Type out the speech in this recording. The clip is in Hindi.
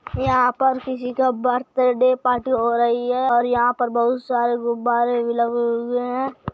यहाँ पर किसी का बर्थडे पार्टी हो रही है और यहाँ पर बहुत सारे गुब्बारे भी लगे हुए हैं।